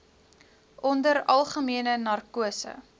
onder algemene narkose